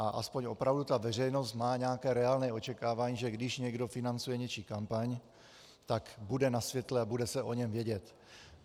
A aspoň opravdu ta veřejnost má nějaké reálné očekávání, že když někdo financuje něčí kampaň, tak bude na světle a bude se o něm vědět.